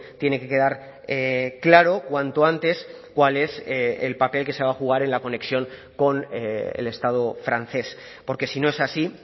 tiene que quedar claro cuanto antes cuál es el papel que se va a jugar en la conexión con el estado francés porque si no es así